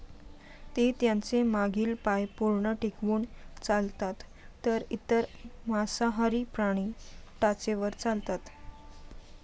ते त्यांचे मागील पाय पूर्ण टेकवून चालतात तर इतर मांसाहारी प्राणी टाचेवर चालतात